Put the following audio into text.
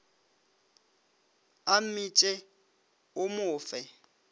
a mmitše o mo fe